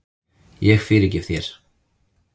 Ég fyrirgef þér.